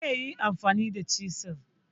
zaiyi amfani da chisel